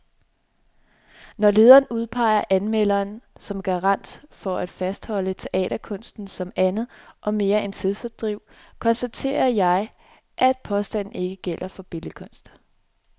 Når lederen udpeger anmelderen som garant for at fastholde teaterkunsten som andet og mere end tidsfordriv, konstaterer jeg, at påstanden ikke gælder for billedkunst.